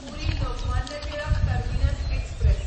puri Lokmanya Tilak terminus express